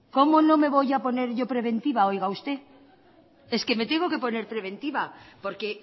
como no me voy a poner yo preventiva oiga usted es que me tengo que poner preventiva porque